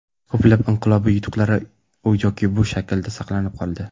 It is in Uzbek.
Ko‘plab inqilobiy yutuqlar u yoki bu shaklda saqlanib qoldi.